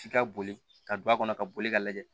F'i ka boli ka don a kɔnɔ ka boli ka lajɛ